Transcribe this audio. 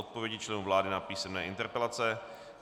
Odpovědi členů vlády na písemné interpelace